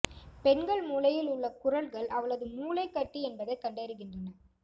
பெண்கள் மூளையில் உள்ள குரல்கள் அவளது மூளை கட்டி என்பதை கண்டறிகின்றன